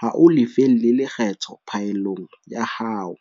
ha o lefelle lekgetho phaellong ya hao.